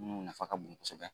minnu nafa ka bon kosɛbɛ